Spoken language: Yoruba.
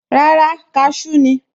Rárá, cashew ni